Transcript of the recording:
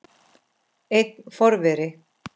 Einn forveri